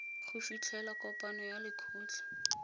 go fitlhela kopano ya lekgotlha